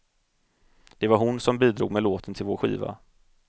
Det var hon som bidrog med låten till vår skiva.